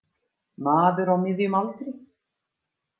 Maður á miðjum aldri.